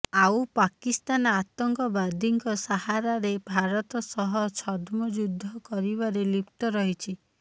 ଆଉ ପାକିସ୍ତାନ ଆତଙ୍କବାଦୀଙ୍କ ସାହାରାରେ ଭାରତ ସହ ଛଦ୍ମ ଯୁଦ୍ଧ କରିବାରେ ଲିପ୍ତ ରହିଛି